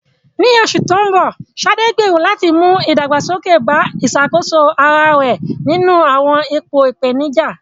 Ní oṣù tó ń bọ̀, Sade gbèrò láti mú ìdàgbàsókè bá ìṣàkóso ara rẹ̀ nínú àwọn ipò ìpèníjà.